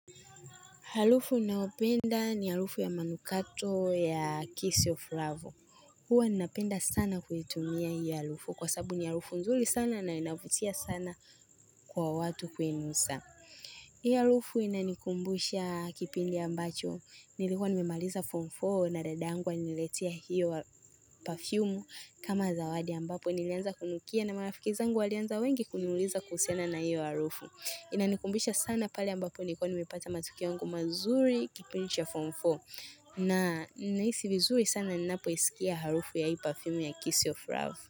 Halufu nayopenda ni halufu ya manukato ya Kiss of Love. Huwa ninapenda sana kuitumia hiyo halufu kwa sabu ni halufu nzuli sana na inavutia sana kwa watu kuinusa. Hii halufu inanikumbusha kipindi ambacho. Nilikuwa nimemaliza form four na dadangu aliniletia hiyo wa perfume kama zawadi ambapo. Nilianza kunukia na marafiki zangu walianza wengi kuniuliza kuhusiana na hiyo halufu. Inanikumbisha sana pale ambapo nilikuwa nimepata matukio yangu mazuri kipindi cha form 4 na naisi vizuri sana ninapo isikia harufu ya hii perfume ya Kiss of Love.